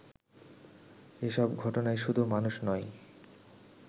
এসব ঘটনায় শুধু মানুষ নয়